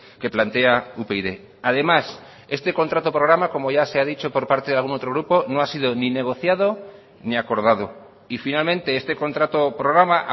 que plantea upyd además este contrato programa como ya se ha dicho por parte de algún otrogrupo no ha sido ni negociado ni acordado y finalmente este contrato programa